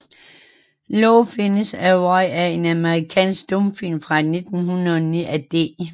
Love Finds a Way er en amerikansk stumfilm fra 1909 af D